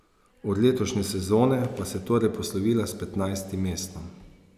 Od letošnje sezone pa se je torej poslovila s petnajstim mestom.